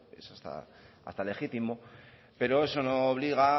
es hasta legítimo pero eso no obliga